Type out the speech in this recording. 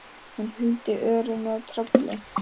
Hún huldi örið með trefli.